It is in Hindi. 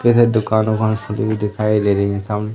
यह दुकान उकान खुली हुई दिखाई दे रही हैं सामने।